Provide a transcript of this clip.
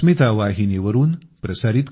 नमस्कार